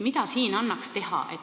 Mida siin annaks teha?